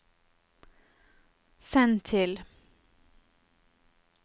send til